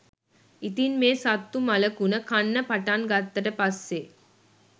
ඉතින් මේ සත්තු මළකුණ කන්න පටන් ගත්තට පස්සේ